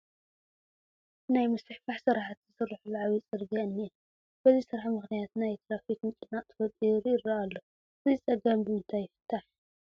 ናይ ምስፍሕፋሕ ስራሕቲ ዝስርሐሉ ዓብዪ ፅርጊያ እኒአ፡፡ በዚ ስራሕ ምኽንያት ናይ ትራፊክ ምጭንናቕ ተፈጢሩ ይርአ ኣሎ፡፡ እዚ ፀገም ብምንታይ ይፍታሕ?